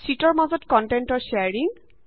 শিটৰ মাজত কন্টেন্টৰ শেয়াৰিং